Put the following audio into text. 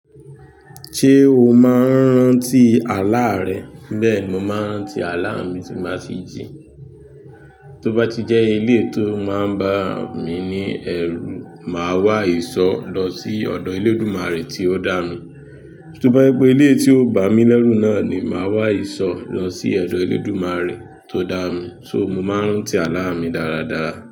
Ṣé o máa ń rántí àlá rẹ? Bẹ́ẹ̀ ni mo máa ń rántí àlá mi tí ń báa tí jí. Tí ó bá ti jẹ́ eléyìí tó máà ń bá mi ní ẹ̀rù, màá wá ìsọ́ lọ sí ọ̀dọ̀ Elédùmarè tí ó dá mi. Tí ó bá jẹ́ wípé eléyìí tí ó bá mi lẹ́rù náà ni, màá wá ìsọ́ lọ sí odọ̀ Elédùmarè tó dá mi. Só, mo máa ń rántí àlá mi dáradára.